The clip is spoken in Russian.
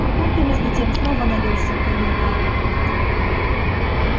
папулька между тем снова налил всем коньяка